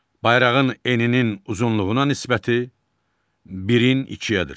Bayrağın eninin uzunluğuna nisbəti birin ikiyədir.